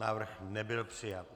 Návrh nebyl přijat.